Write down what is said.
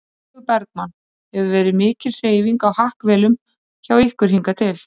Sólveig Bergmann: Hefur verið mikil hreyfing á hakkavélum hjá ykkur hingað til?